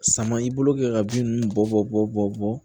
Sama i bolo kɛ ka bin ninnu bɔ bɔ